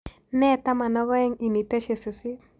Nee taman ak oeng' initeshi sisiit